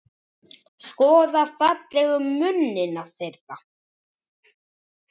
Skoða fallegu munina þeirra.